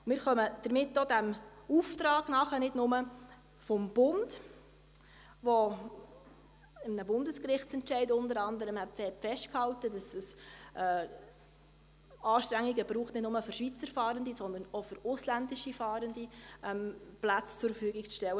Wir kommen damit nicht nur dem Auftrag des Bundes nach, der unter anderem in einem Bundesgerichtsentscheid festhält, dass es nicht für Schweizer Fahrende, sondern auch für ausländische Fahrende Anstrengungen braucht, um Plätze zur Verfügung zu stellen.